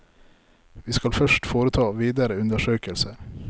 Vi skal først foreta videre undersøkelser.